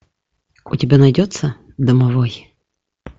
у тебя найдется домовой